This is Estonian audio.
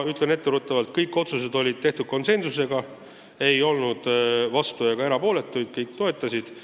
Ütlen etteruttavalt, et kõik otsused sai tehtud konsensusega, keegi ei olnud vastu ega erapooletu, kõik toetasid.